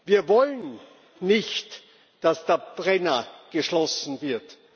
Wir wollen nicht, dass der Brenner geschlossen wird.